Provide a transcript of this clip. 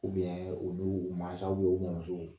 u bɛ u mansaw u mɔmuso